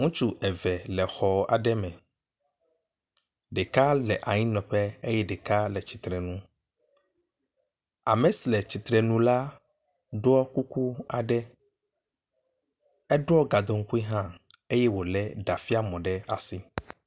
Ŋutsu eve le xɔ aɖe me. Ɖeka le anyinɔƒe eye ɖeka le tsitre nu. Ame si le tsitre nu la ɖɔ kuku aɖe. Eɖɔ gadoŋkui hã eye wolé ɖafiãmɔ ɖe asi.